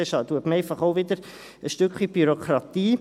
Damit erhöht man einfach auch wieder ein Stück weit die Bürokratie.